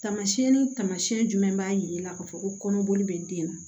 Tamasiyɛn ni taamasiyɛn jumɛn b'a jira i la k'a fɔ ko kɔnɔboli bɛ den na